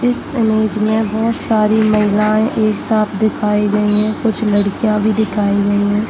इस इमेज में बहुत सारी महिलाएं एक साथ दिखाई गयी है कुछ लड़कियां भी दिखाई गयी है।